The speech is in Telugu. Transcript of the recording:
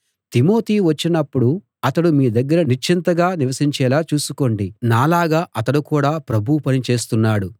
తిమోతి వచ్చినప్పుడు అతడు మీ దగ్గర నిశ్చింతగా నివసించేలా చూసుకోండి నాలాగా అతడు కూడా ప్రభువు పని చేస్తున్నాడు